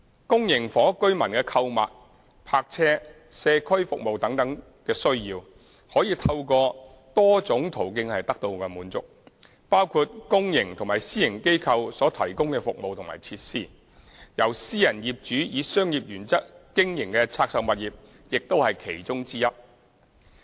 公營房屋居民的購物、泊車、社區服務等需要，可以透過多種途徑得到滿足，包括公營及私營機構所提供的服務和設施，由私人業主以商業原則經營的拆售物業亦是其中之一。